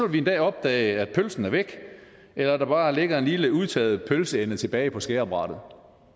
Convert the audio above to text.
vi en dag opdage at pølsen er væk eller at der bare ligger en lille udtørret pølseende tilbage på skærebrættet